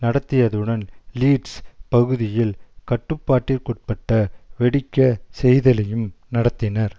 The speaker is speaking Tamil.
நடத்தியதுடன் லீட்ஸ் பகுதியில் கட்டுப்பாட்டிற்குட்பட்ட வெடிக்க செய்தலையும் நடத்தினர்